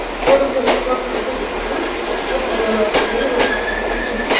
Forumda ishtirok etish uchun ushbu havola orqali ro‘yxatdan o‘ting.